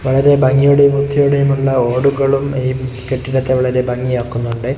വളരെ ഭംഗിയോടെയും വൃത്തിയോടെയുമുള്ള ഓടുകളും ഈ കെട്ടിടത്തെ വളരെ ഭംഗിയാക്കുന്നുണ്ടെ.